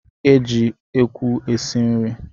E jị ekwu esi nri